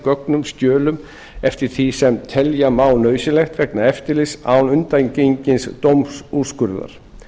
gögnum og skjölum eftir því sem telja má nauðsynlegt vegna eftirlitsins án undangengins dómsúrskurðar